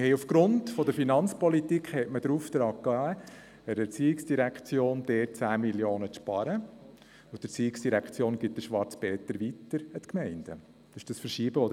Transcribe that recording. Wegen der Finanzpolitik wurde der ERZ der Auftrag gegeben, 10 Mio. Franken einzusparen, und die ERZ gibt den «Schwarzen Peter» an die Gemeinden weiter.